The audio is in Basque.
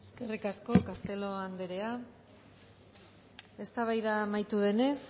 eskerrik asko castelo anderea eztabaida amaitu denez